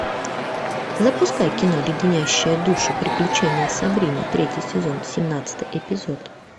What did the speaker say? запускай кино леденящие душу приключения сабрины третий сезон семнадцатый эпизод